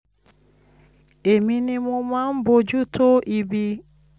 èmi ni mo máa ń bójú tó ibi